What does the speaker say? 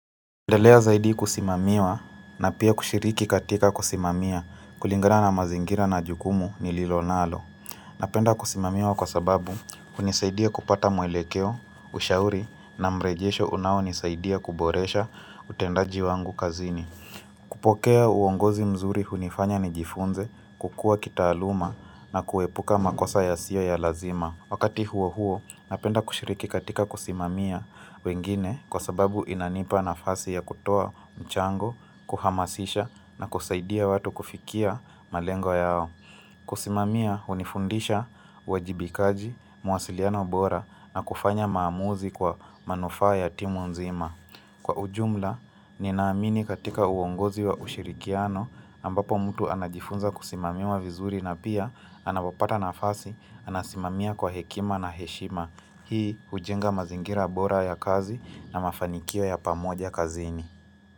Endelea zaidi kusimamiwa na pia kushiriki katika kusimamia kulingana na mazingira na jukumu nililo nalo. Napenda kusimamiwa kwa sababu hunisaidia kupata mwelekeo, ushauri na mrejesho unaonisaidia kuboresha utendaji wangu kazini. Kupokea uongozi mzuri hunifanya nijifunze kukuwa kitaaluma na kuepuka makosa yasiyo ya lazima. Wakati huo huo, napenda kushiriki katika kusimamia wengine kwa sababu inanipa nafasi ya kutoa mchango, kuhamasisha na kusaidia watu kufikia malengo yao. Kusimamia, hunifundisha uwajibikaji, mawasiliano bora na kufanya maamuzi kwa manufaa ya timu nzima. Kwa ujumla, ninaamini katika uongozi wa ushirikiano ambapo mtu anajifunza kusimamiwa vizuri na pia anapopata nafasi, anasimamia kwa hekima na heshima. Hii hujenga mazingira bora ya kazi na mafanikio ya pamoja kazini.